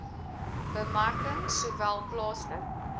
bemarking sowel plaaslik